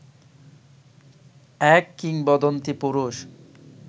এক কিংবদন্তী পুরুষ